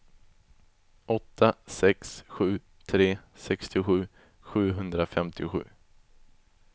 åtta sex sju tre sextiosju sjuhundrafemtiosju